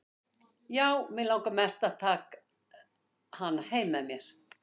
Já, mig langaði mest til að taka hana með mér heim.